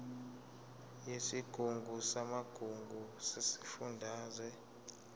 yesigungu samagugu sesifundazwe